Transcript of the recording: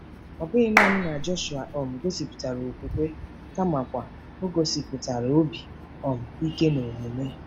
Ọ bụghị nanị na Jọshụa um gosipụtara okwukwe kamakwa o gosipụtara obi um ike n'omume.